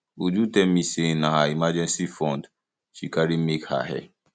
uju tell me say na her emergency fund she carry make her hair